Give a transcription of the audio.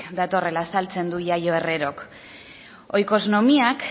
datorrela azaltzen du yayo herrerok oikosnomiak